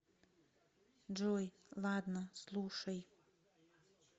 джой ладно слушай